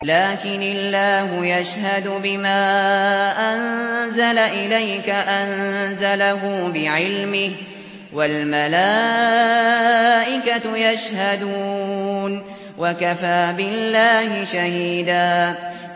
لَّٰكِنِ اللَّهُ يَشْهَدُ بِمَا أَنزَلَ إِلَيْكَ ۖ أَنزَلَهُ بِعِلْمِهِ ۖ وَالْمَلَائِكَةُ يَشْهَدُونَ ۚ وَكَفَىٰ بِاللَّهِ شَهِيدًا